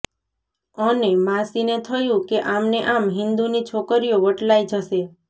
અને માસીને થયું કે આમને આમ હિંદુની છોકરીઓ વટલાઈ જશે